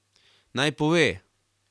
Naj pove?